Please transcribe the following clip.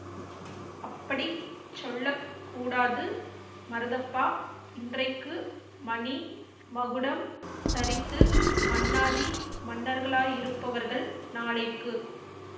அப்படி சொல்ல கூடாது மருதப்பா இன்றைக்கு மணி மகுடம் தரித்து மன்னாதி மன்னர்களாயிருப்பவர்கள் நாளைக்கு